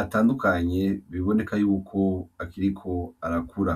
atandukanye biboneka yuko akiriko arakura.